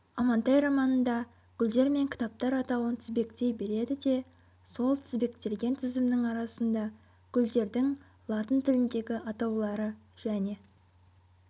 амантай романында гүлдер мен кітаптар атауын тізбектей береді де сол тізбектелген тізімнің арасында гүлдердің латын тіліндегі атаулары және